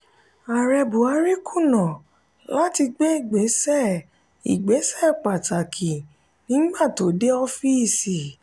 ààrẹ buhari kùnà lati gbe ìgbésẹ ìgbésẹ pàtàkì nígbà tó dé ọọfisi.